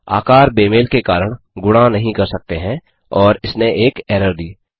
आकार बेमेल के कारण गुणा नहीं कर सकते हैं और इसने एक एरर दी